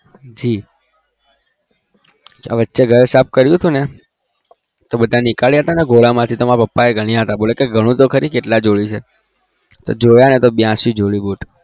જી વચ્ચે ઘર સાફ કર્યું હતું તો મારા પપ્પા કે ગણું તો કરી કેટલા જોડી છે જોયા તો બયાશી જોડી boot